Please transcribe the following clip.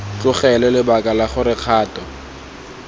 tlogelwe lebaka la gore kgato